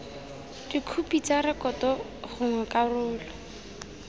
dikhopi tsa rekoto gongwe karolo